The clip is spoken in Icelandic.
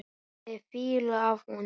Það er fýla af honum.